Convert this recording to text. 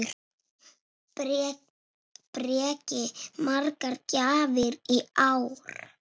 Breki: Margar gjafir í ár?